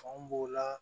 Fanw b'o la